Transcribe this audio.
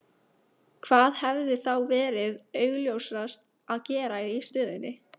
Hvað hefði þá verið augljósast að gera í stöðunni?